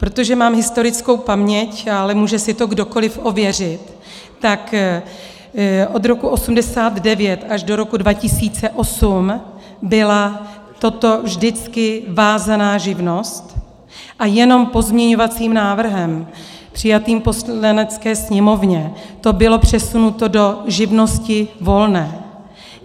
Protože mám historickou paměť, ale může si to kdokoliv ověřit, tak od roku 1989 až do roku 2008 byla toto vždycky vázaná živnost a jenom pozměňovacím návrhem přijatým v Poslanecké sněmovně to bylo přesunuto do živnosti volné.